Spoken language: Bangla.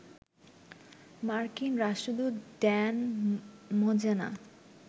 মার্কিন রাষ্ট্রদূত ড্যান মোজেনা